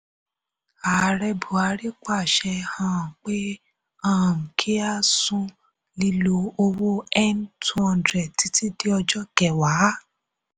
ààrẹ buhari paṣẹ um pé um kí a sún lílo owó n two hundred títí di ọjọ́ kẹwàá.